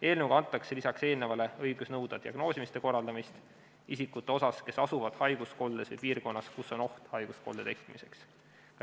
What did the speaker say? Eelnõuga antakse lisaks eelnevale õigus nõuda diagnoosimise korraldamist isikute seas, kes asuvad haiguskoldes või piirkonnas, kus on oht haiguskolde tekkimiseks.